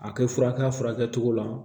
A kɛ furakisɛ furakɛ cogo la